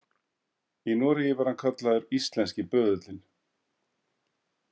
Í Noregi var hann kallaður „Íslenski böðullinn“.